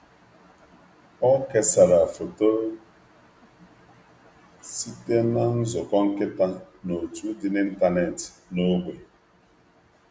Ọ kesara foto site na nzukọ nkịta n’òtù dị n’ịntanetị n’ógbè.